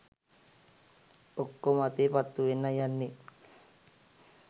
ඔක්කොම අතේ පත්තු වෙන්නයි යන්නෙ.